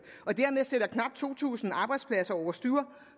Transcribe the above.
og dermed sætter knap to tusind arbejdspladser over styr